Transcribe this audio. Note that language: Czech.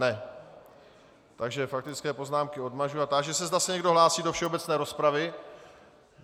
Ne, takže faktické poznámky odmažu a táži se, zda se někdo hlásí do všeobecné rozpravy.